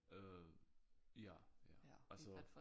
Øh ja ja altså